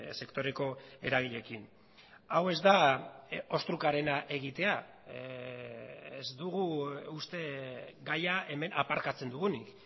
sektoreko eragileekin hau ez da ostrukarena egitea ez dugu uste gaia hemen aparkatzen dugunik